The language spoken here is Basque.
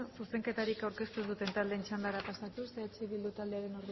zuzenketarik aurkeztu ez duten taldeen txandara pasatuz eh bildu taldearen